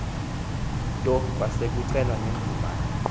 nto kwasekucelwa nemvume